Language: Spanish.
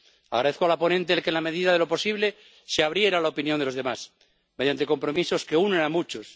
Agradezco a la ponente en que, en la medida de lo posible, se abriera a la opinión de los demás, mediante compromisos que unen a muchos.